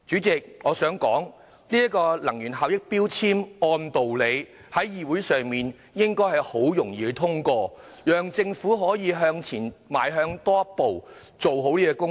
這項根據《能源效益條例》動議的擬議決議案，理應很順利獲得通過，讓政府向前邁進多一步，做好這方面的工作。